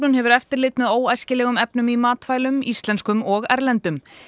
hefur eftirlit með óæskilegum efnum í matvælum íslenskum og erlendum